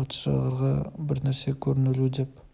патшағарға бірнәрсе көрінулі деп